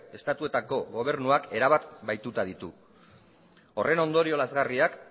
estatuetako gobernuak erabat bahituta ditu horren ondorio lazgarriak